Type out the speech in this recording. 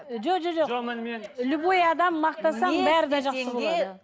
жо жо жоқ любой адам мақтасаң бәрі де жақсы болады